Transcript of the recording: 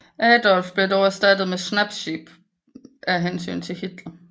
Adolph blev dog erstattet med Schnappsy af hensyn til Hitler